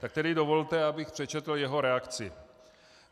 Tak tedy dovolte, abych přečetl jeho reakci: